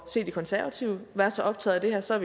se de konservative være så optaget af det her så